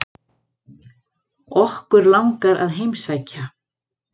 Okkur langar að heimsækja